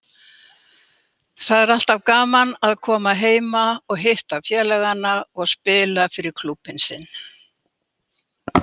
Það er alltaf gaman að koma heima og hitta félagana og spila fyrir klúbbinn sinn.